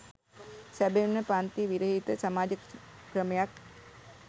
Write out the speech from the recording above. සැබවින්ම පංති විරහිත සමාජ ක්‍රමයක්